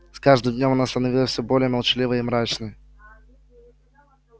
с каждым днём она становилась все более молчаливой и мрачной